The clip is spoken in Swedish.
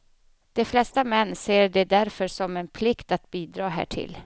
De flesta män ser det därför som en plikt att bidra härtill.